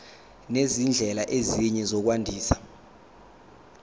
nezindlela ezinye zokwandisa